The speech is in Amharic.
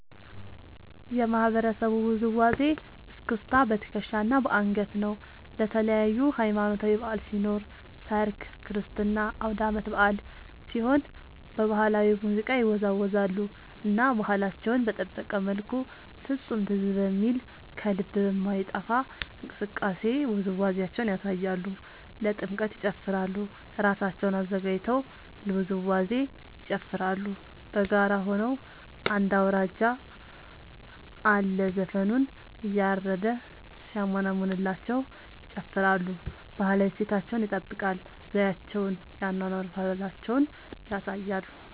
የማህበረሰቡ ውዝዋዜ እስክስታ በትከሻ እና በአንገት ነው። ለተለያዪ ሀማኖታዊ በዐል ሲኖር ሰርግ ክርስትና አውዳመት በአል ሲሆን በባህላዊ ሙዚቃ ይወዛወዛሉ እና ባህላቸውን በጠበቀ መልኩ ፍፁም ትዝ በሚል ከልብ በማይጠፍ እንቅስቃሴ ውዝዋዜያቸውን ያሳያሉ። ለጥምቀት ይጨፉራሉ እራሳቸውን አዘጋጅተው ለውዝዋዜ ይጨፋራሉ በጋራ ሆነው አንድ አውራጅ አለ ዘፈኑን እያረደ ሲያሞነምንላቸው ይጨፍራሉ። ባህላዊ እሴታቸውን ይጠብቃል ዘዪቸውን የአኗኗር ባህላቸውን ያሳያሉ።